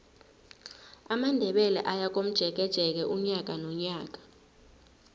amandebele ayakomjekeje unyaka nonyaka